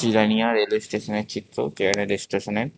জিরানিয়ার railway স্টেশনের চিত্র স্টেশনের।